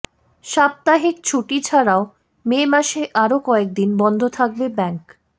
সাপ্তাহিক ছুটি ছাড়াও মে মাসে আরও কয়েকদিন বন্ধ থাকবে ব্যাঙ্ক